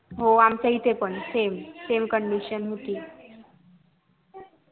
हो आमच्या इथे पण same condition होती